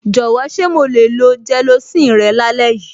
Jọ̀wọ́, ṣé mo le lo gelocin rẹ lálẹ́ yìí?